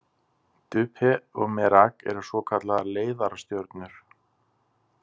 Dubhe og Merak eru svokallaðar leiðarastjörnur.